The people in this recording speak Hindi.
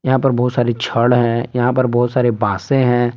यहां पर बहुत सारी छड़ हैं यहां पर बहुत सारे बांसे हैं।